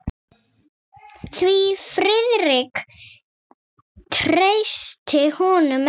Því Friðrik treysti honum ekki.